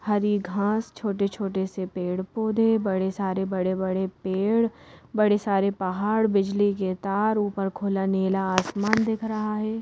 हरी घास छोटे-छोटे से पेड़-पौधे बड़े सारे बड़े-बड़े पेड़ बड़े सारे पहाड़ बिजली के तार ऊपर खुला नीला आसमान दिख रहा है।